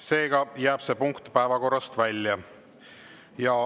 Seega jääb see punkt päevakorrast välja.